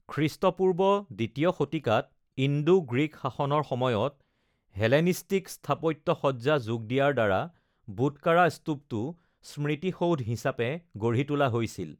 খ্ৰীষ্টপূৰ্ব ২য় শতিকাত ইণ্ডো-গ্ৰীক শাসনৰ সময়ত হেলেনিষ্টিক স্থাপত্য সজ্জা যোগ দিয়াৰ দ্বাৰা বুটকাৰা স্তূপটো “স্মৃতিসৌধ” হিচাপে গঢ়ি তোলা হৈছিল।